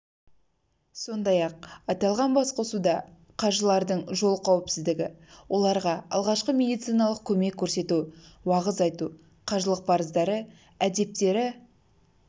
сондай-ақ аталған басқосуда қажылардың жол қауіпсіздігі оларға алғашқы медициналық көмек көрсету уағыз айту қажылық парыздары әдептері